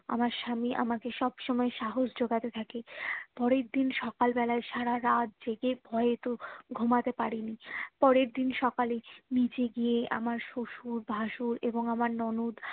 আমার স্বামী আমাকে সব সময়ে সাহস জোগাতে থাকে পরের দিন সকাল বেলাই সারারাত জেগে ভয়ে তো ঘুমোতে পারিনি পরের দিন সকালে নিজে গিয়ে আমার শুশুর ভাসুর এবং আমার ননদ